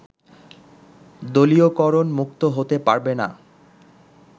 দলীয়করণমুক্ত হতে পারবে না